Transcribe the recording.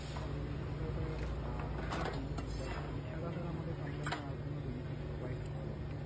তো সেটা sir আপনার benefit but এছাড়া sir আমাদের company আর কোন benefit provide করে না।